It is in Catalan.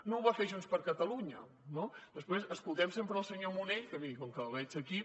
no ho va fer junts per catalunya no després escoltem sempre el senyor munell que vull dir com que el veig aquí